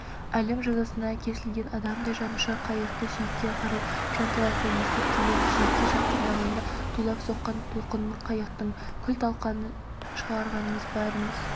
әлім жазасына кесілген адамдай жанұшыра қайықты жиекке қарай жанталаса есіп келеміз жиекке жақындағанда тулап соққан толқынның қайықтың күл-талқанын шығаратынын бәріміз